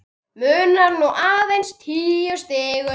Munar nú aðeins níu stigum.